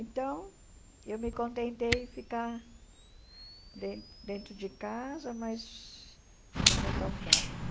Então, eu me contentei em ficar den dentro de casa, mas era tão bom.